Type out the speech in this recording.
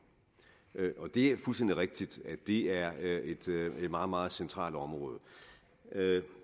det er fuldstændig rigtigt at det er et meget meget centralt område